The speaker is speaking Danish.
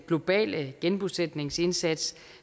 globale genbosætningsindsats